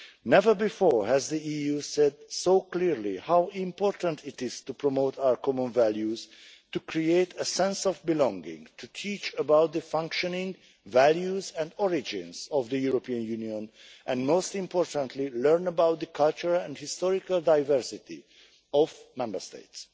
May. Never before has the EU said so clearly how important it is to promote our common values, to create a sense of belonging, to teach about the functioning values and origins of the European Union and, most importantly, to learn about the cultural and historical diversity of Member States.